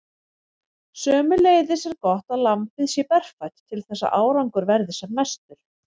Sömuleiðis er gott að lambið sé berfætt til þess að árangur verði sem mestur.